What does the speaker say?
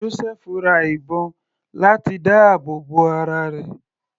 Josẹfu ra ìbọn láti dáàbò bo ara rẹ̀.